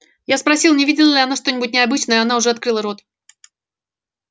я спросил не видела ли она что-нибудь необычное она уже открыла рот